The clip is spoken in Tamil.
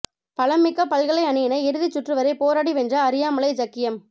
பலம்மிக்க பல்கலை அணியினை இறுதிச் சுற்றுவரை போராடி வென்ற அரியாலை ஜக்கியம்